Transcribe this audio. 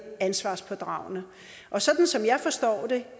ansvarspådragende sådan som jeg forstår det